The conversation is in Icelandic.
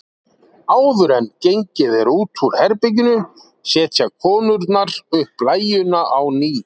Áður en gengið er út úr herberginu setja konurnar upp blæjuna á ný.